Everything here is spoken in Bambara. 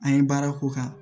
An ye baara k'o kan